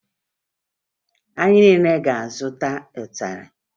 Anyị niile ga-azụta ịtarị